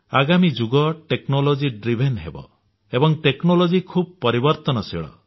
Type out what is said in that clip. ଆଗାମୀ ଯୁଗ ଟେକ୍ନୋଲୋଜିର ଯୁଗ ହେବ ଏବଂ ଟେକ୍ନୋଲୋଜି ଖୁବ୍ ପରିବର୍ତ୍ତନଶୀଳ